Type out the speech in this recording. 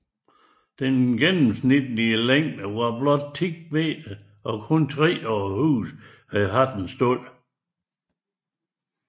Den gennemsnitlige længde var blot 10 m og kun tre af husene har haft stald